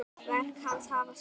Verk hans hafa sál.